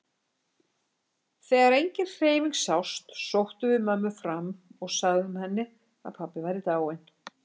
Þegar engin hreyfing sást sóttum við mömmu fram og sögðum henni að pabbi væri dáinn.